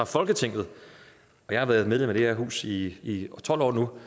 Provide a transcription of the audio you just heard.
folketinget jeg har været medlem af det her hus i tolv år nu